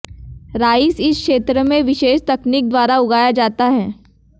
rice इस क्षेत्र में विशेष तकनीक द्वारा उगाया जाता है